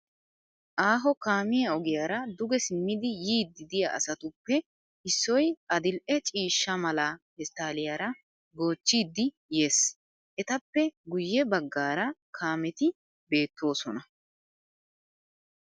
Aaho kaamiya ogiyaara duge simmidi yiiddi diya asatuppe issoy adil'e ciishsha mala pesttaalliyaara goochchiddi yes. Etappe guyye baggaara kaameti beettoosona.